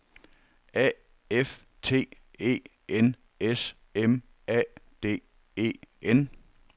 A F T E N S M A D E N